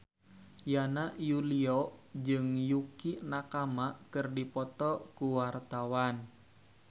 Yana Julio jeung Yukie Nakama keur dipoto ku wartawan